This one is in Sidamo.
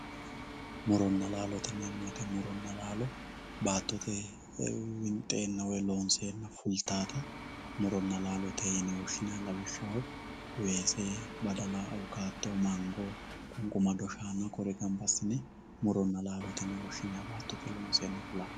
Muronna laallote yineemo woyite muronna laallo baatotte winxrenna woy loonseenna fulitawota muronna laallote yine wosinayi, lawishaho weesse, badalla, awukato, mango, qunqumado shaanna kuri gamba asine muronna laallote yine woshinayi baatotte loonseenna fulaha